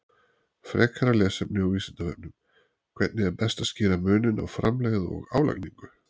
Frekara lesefni á Vísindavefnum: Hvernig er best að skýra muninn á framlegð og álagningu.